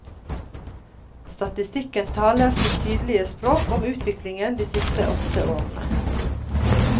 Statistikken taler sitt tydelige språk om utviklingen de siste åtte årene.